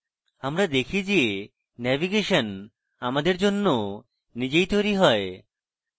আমরা দেখি যে navigation আমাদের জন্য নিজেই তৈরী হয়